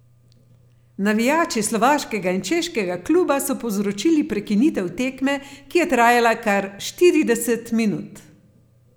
Navijači slovaškega in češkega kluba so povzročili prekinitev tekme, ki je trajala kar štirideset minut.